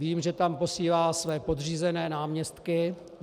Vím, že tam posílá své podřízené náměstky.